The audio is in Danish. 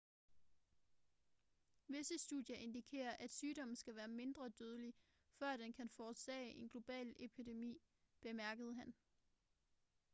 visse studier indikerer at sygdommen skal være mindre dødelig før den kan forårsage en global epidemi bemærkede han